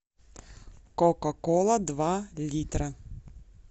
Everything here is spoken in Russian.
кока кола два литра